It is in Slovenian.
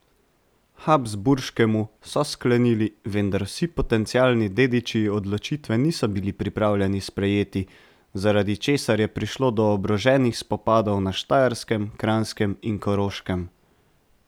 Habsburškemu, so sklenili, vendar vsi potencialni dediči odločitve niso bili pripravljeni sprejeti, zaradi česar je prišlo do oboroženih spopadov na Štajerskem, Kranjskem in Koroškem.